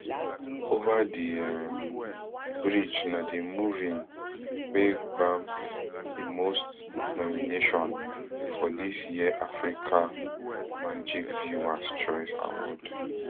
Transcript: over the um bridge na di movine wey gbab di most nomination for dis year africa magic viewers choice awards